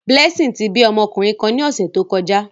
Blessing ti bi ọmọkunrin kan ni ọsẹ to kọja.